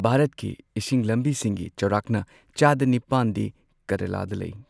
ꯚꯥꯔꯠꯀꯤ ꯏꯁꯤꯡ ꯂꯝꯕꯤꯁꯤꯡꯒꯤ ꯆꯥꯎꯔꯥꯛꯅ ꯆꯥꯗ ꯅꯤꯄꯥꯟꯗꯤ ꯀꯦꯔꯂꯥꯗ ꯂꯩ꯫